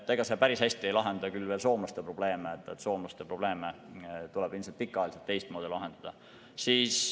Ega see päris hästi ei lahenda küll veel soomlaste probleeme, soomlaste probleeme tuleb ilmselt pikaajaliselt teistmoodi lahendada.